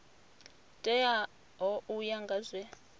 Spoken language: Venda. teaho u ya nga zwe